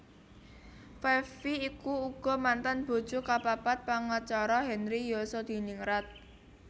Five Vi iku uga mantan bojo kapapat pangacara Henry Yosodiningrat